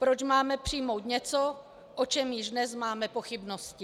Proč máme přijmout něco, o čem již dnes máme pochybnosti.